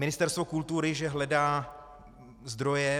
Ministerstvo kultury že hledá zdroje.